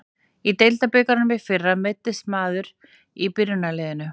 Í deildabikarnum í fyrra meiðist maður í byrjunarliðinu.